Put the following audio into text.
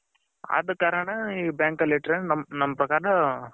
ಅದ ಕಾರಣ ನಮ್ಮ bank ಅಲ್ಲಿ ಇಟ್ಟರೆ ನಮ್ಮ ಪ್ರಕಾರ ಒಳ್ಳೇದು.